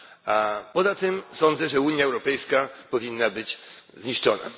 A poza tym sądzę, że Unia Europejska powinna zostać zniszczona.